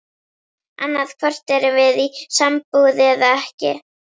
Annaðhvort erum við í sambúð eða ekki.